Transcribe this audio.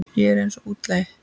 Ég er eins og útlagi.